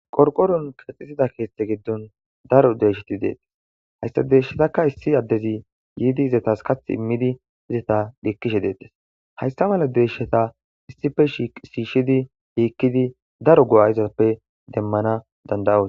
Qorqqoruwan keexeththida keeththaa giddon daro deeshethi de7ees; haystha deeshshathakka issi addethi yiide ethas kaththe immidi etha dhiikkishe deeththes; haysththa mala deshshatha issippe shiishshidi dhiikkidi daro go7aa izuwappe demmana dandda7oos.